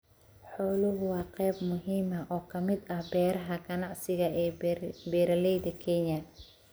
Xooluhu waa qayb muhiim ah oo ka mid ah beeraha ganacsiga ee beeralayda Kenya.